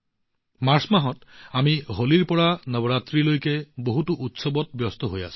এই মাৰ্চ মাহত হোলীৰ পৰা নৱৰাত্ৰিলৈ আমি বহুতো উৎসৱত ব্যস্ত হৈ পৰিম